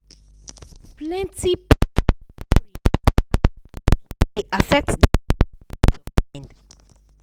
plenty people dey worry after market shake e dey affect their sleep and peace of mind.